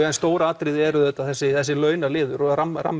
stóru atriði er auðvitað þessi þessi launaliður og